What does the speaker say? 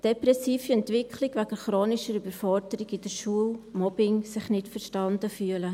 Depressive Entwicklung wegen chronischer Überforderung in der Schule, Mobbing, Sich-nicht-verstanden-Fühlen.